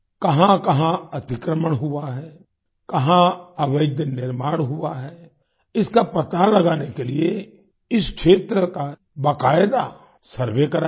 कहांकहां अतिक्रमण हुआ है कहां अवैध निर्माण हुआ है इसका पता लगाने के लिए इस क्षेत्र का बाकायदा सर्वे कराया गया